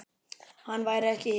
Hann væri ekki hér.